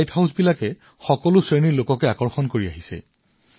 light হাউচবোৰ সদায় ইয়াৰ বিশাল গাঁথনিৰ বাবে মানুহৰ আকৰ্ষণৰ কেন্দ্ৰ হৈ আছে